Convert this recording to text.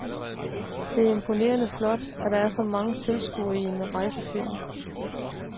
Det er imponerende flot, at der er så mange tilskuere til en rejsefilm.